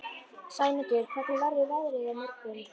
Sæmundur, hvernig verður veðrið á morgun?